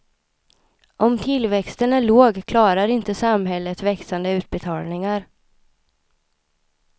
Om tillväxten är låg klarar inte samhället växande utbetalningar.